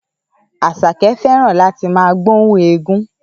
Àṣàkẹ́ fẹ́ràn láti máa rí gbóhùn éégún